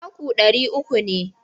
Taku ɗari uku ne.